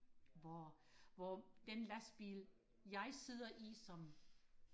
hvor hvor den lastbil jeg sidder i som